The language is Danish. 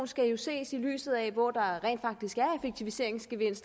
skal jo ses i lyset af hvor der rent faktisk